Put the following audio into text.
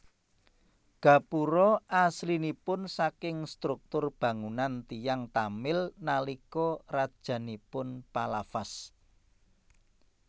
Gapura aslinipun saking struktur bangunan tiyang Tamil nalika rajanipun Pallavas